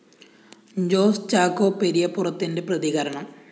ജോസ് ചാക്കോ പെരിയപ്പുറത്തിന്റെ പ്രതികരണം